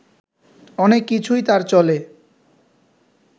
অনেক কিছুই তাঁর চলে